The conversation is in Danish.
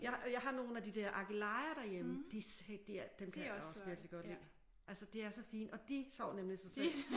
Jeg har nogle af de der akelejer derhjemme de dem kan jeg også virkelig godt lide altså de er så fine og de sår nemlig sig selv